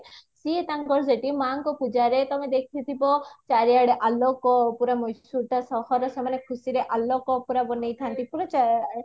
ସିଏ ତାଙ୍କର ଶେଠୀ ମାଙ୍କ ପୂଜାରେ ତମେ ଦେଖିଥିବା ଚାରିଆଡେ ଆଲୋକ ପୁରା ମହେଶ୍ଵରଟା ସହର ସେମାନେ ଖୁସିରେ ଆଲୋକ ପୁରା ବନେଇଥାନ୍ତି ପୁରା